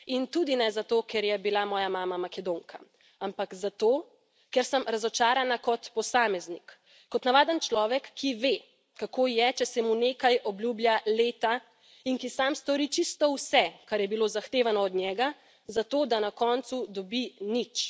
In tudi ne zato, ker je bila moja mama Makedonka, ampak zato ker sem razočarana kot posameznik, kot navaden človek, ki ve, kako je, če se mu nekaj obljublja leta, in ki sam stori čisto vse, kar je bilo zahtevano od njega, zato da na koncu dobi nič.